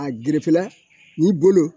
A n'i bolo